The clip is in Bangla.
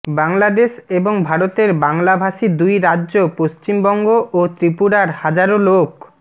বাংলাদেশ এবং ভারতের বাংলাভাষী দুই রাজ্য পশ্চিমবঙ্গ ও ত্রিপুরার হাজারো লোক